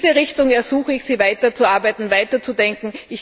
In diese Richtung ersuche ich Sie, weiterzuarbeiten, weiterzudenken.